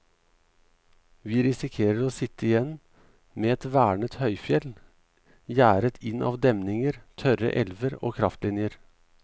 Vi risikerer å sitte igjen med et vernet høyfjell, gjerdet inn av demninger, tørre elver og kraftlinjer.